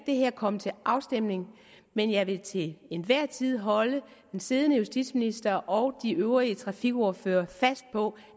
komme til afstemning men jeg vil til enhver tid holde den siddende justitsminister og de øvrige trafikordførere fast på